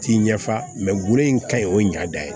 Ti ɲɛfa woro in ka ɲi o ye ɲ'a da ye